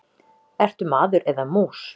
Ertu maður eða mús?